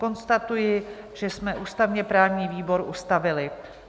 Konstatuji, že jsme ústavně-právní výbor ustavili.